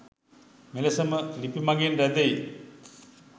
මෙලෙසම ලිපි මඟින් රැදෙයි